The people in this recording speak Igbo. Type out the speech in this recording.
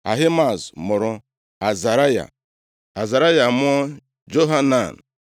Ahimaaz mụrụ Azaraya, Azaraya amụọ Johanan.